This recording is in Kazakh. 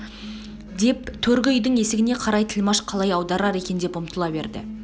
деп төргі үйдің есігіне қарай тілмаш қалай аударар екен деп ұмтыла берді